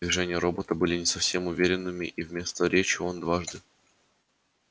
движения робота были не совсем уверенными и вместо речи он дважды